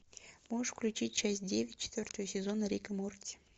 можешь включить часть девять четвертого сезона рик и морти